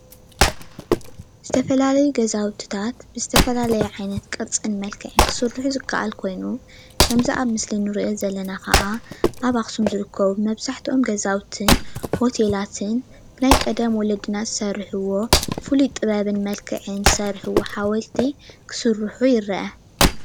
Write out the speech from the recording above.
ዝተፈላለዩ ገዛውትታት ብዝተፈላለየ ዓይነት ቅርፅን መልክዕን ክስርሑ ዝከአል ኮይኑ ከምዚ አብ ምስሊ ንርእዮ ዘለና ኻዓ አብ አክሱም ዝርከቡ መብዛሕቲኦም ገዛውቲን ሆቴላትን ብናይ ቀደም ወለድና ዝሰርሕዎ ፉሊ ጥበብን መልክዕን ዝሰርሕዎ ሓወልቲ ክስርሑ ይርአ::